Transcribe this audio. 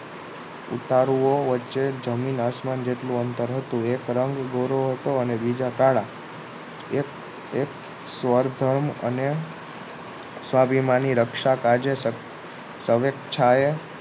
ઉતારુઓ વચ્ચે જમીન આસમાન જેટલુ અંતર હતુ એક રંગ ગોરો હતો બીજા કાળા એક એક સર્થમ અને સ્વાભિમાની રક્ષા કાજે સ્વેચ્છાએ